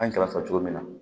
An ye kɛrɛfɛ cogo min na